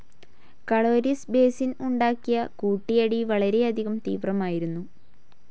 Caloris basin ഉണ്ടാക്കിയ കൂട്ടിയിടി വളരെയധികം തീവ്രമായിരുന്നു.